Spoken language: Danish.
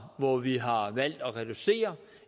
hvor vi har valgt at reducere